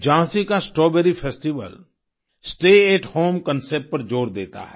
झाँसी का strawberry festival stay at home concept पर जोर देता है